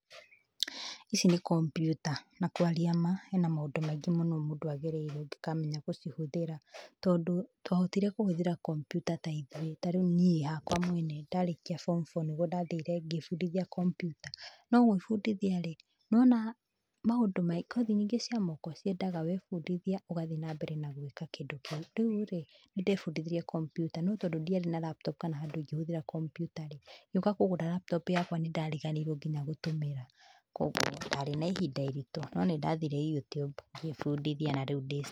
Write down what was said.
Ici nĩ kompiuta, na kwaria ma, hena maũndũ maingĩ mũno mũndũ agereire ũngĩkamenya gũcihũthĩra. Tondũ twahotire kũhũthĩra kompiuta tarĩu niĩ hakwa mwene, ndarĩkia form four nĩguo ndathire ngĩĩbundithia kompiuta. No gũĩbũndithia-rĩ, nĩ wona maũndũ maingĩ kothi nyingĩ cia moko, ciendaga wefundithia, ũgathiĩ nambere na gwĩka kĩndũ kĩu. Rĩu-rĩ, nĩndefundithirie kompiuta, no tondũ ndiarĩ na laptop kana handũ ingĩhũthĩra kompiuta-rĩ, ngĩũka kũgũra laptop yakwa nĩndariganĩirũo kinya gũtũmĩra. Kuoguo, ndarĩ na ihinda iritũ, no nĩndathire YouTube ngĩĩbundithia na rĩu ndĩ sawa.